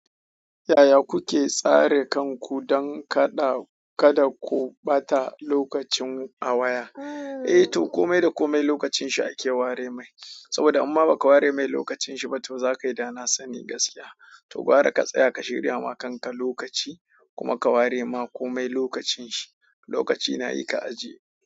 Yaya kuke tsare kanku don kada, kada ku ɓata lokacin a waya? Eh to komai da komai lokacin shi ake ware mai. Saboda in ma baka ware mai lokacin ba za ka yi dana sani gaskiya to gwara ka tsaya ka shirya wa kanka lokaci kuma ka ware ma komai lokacin shi. Lokaci na yi ka ajiye.